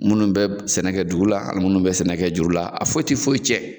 Minnu bɛ sɛnɛ kɛ dugu la ani minnu bɛ sɛnɛ kɛ juru la a foyi tɛ foyi tiɲɛ